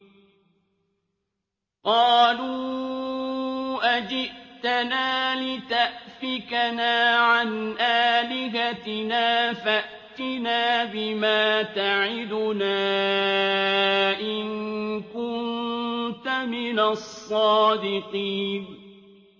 قَالُوا أَجِئْتَنَا لِتَأْفِكَنَا عَنْ آلِهَتِنَا فَأْتِنَا بِمَا تَعِدُنَا إِن كُنتَ مِنَ الصَّادِقِينَ